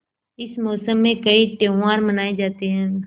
इस मौसम में कई त्यौहार मनाये जाते हैं